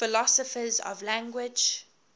philosophers of language